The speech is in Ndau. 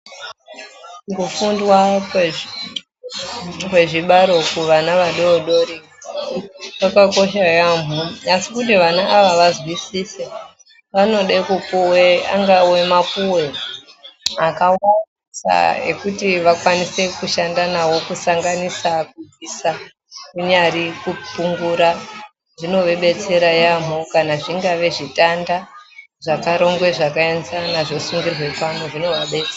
Kufundwa kwezvibaro kuvana vadoodori kwakakosha yambo, asi kuti vana ava kuti vanzwisise vanode kupuwe angawe mapuwe akawanda ekuti vakwanise kushanda nawo kusanganisa kubvisa kunyari kupungura zvinovabetsera yambo kana zvingari zvitanda zvakarongwe zvakaenzana zvosungirwa pamwe zvinovabetsera.